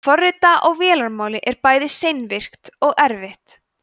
að forrita á vélarmáli er bæði seinvirkt og erfitt